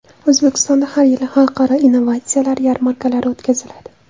O‘zbekistonda har yili xalqaro innovatsiyalar yarmarkalari o‘tkaziladi.